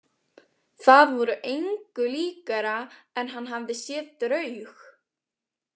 Það var engu líkara en hann hefði séð draug.